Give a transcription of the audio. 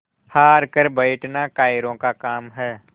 हार कर बैठना कायरों का काम है